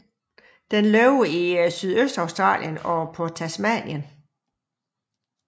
Den lever i Sydøstaustralien og på Tasmanien